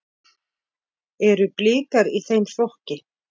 Eru Blikar í þeim flokki?